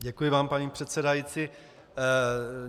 Děkuji vám, paní předsedající.